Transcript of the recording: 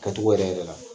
Kɛcogo yɛrɛ yɛrɛ la